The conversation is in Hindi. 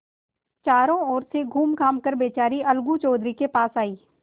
चारों ओर से घूमघाम कर बेचारी अलगू चौधरी के पास आयी